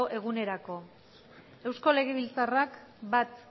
egunerako eusko legebiltzarrak bat